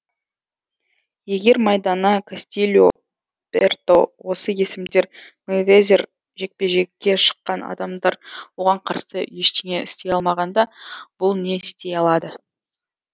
егер майдана кастильо берто осы есімдер мейвезер жекпе жекке шыққан адамдар оған қарсы ештеңе істей алмағанда бұл не істей алады